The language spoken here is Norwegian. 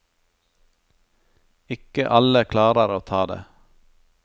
Ikke alle klarer å ta det.